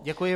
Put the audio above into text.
Děkuji.